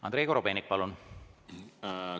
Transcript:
Andrei Korobeinik, palun!